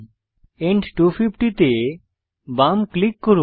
and 250 তে বাম click করুন